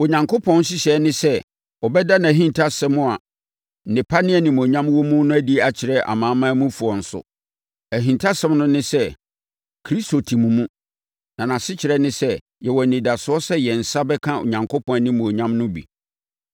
Onyankopɔn nhyehyɛeɛ ne sɛ, ɔbɛda nʼahintasɛm a nnepa ne animuonyam wɔ mu no adi akyerɛ Amanamanmufoɔ nso. Ahintasɛm no ne sɛ: Kristo te mo mu, a nʼasekyerɛ ne sɛ, yɛwɔ anidasoɔ sɛ yɛn nsa bɛka Onyankopɔn animuonyam no bi.